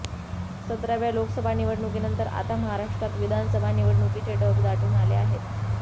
सतराव्या लोकसभा निवडणुकीनंतर आता महाराष्ट्रात विधानसभा निवडणुकीचे ढग दाटून आले आहेत